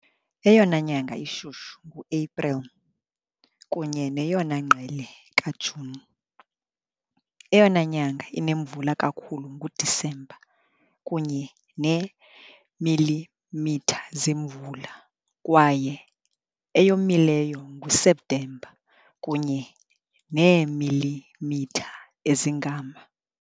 Eyona nyanga ishushu nguAprili, kunye neyona ngqele kaJuni. Eyona nyanga inemvula kakhulu nguDisemba, kunye neemilimitha zemvula, kwaye eyomileyo nguSeptemba, kunye neemilimitha ezingama .